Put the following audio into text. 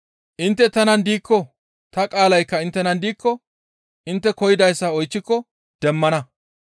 Intte tanan diikko ta qaalaykka inttenan diikko intte koyidayssa oychchiko demmana.